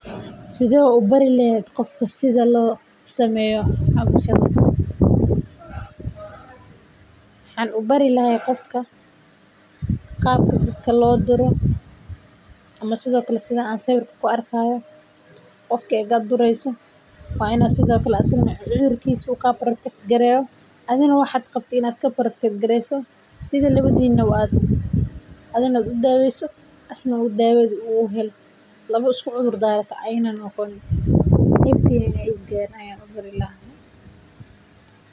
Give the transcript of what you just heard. Sidee ubari leheed qof sidha loo sameeyo waxaan ubari lahaa qofka qaabka dadka loo duro qofka markaad dureeyso si adhiga aad udaweyso.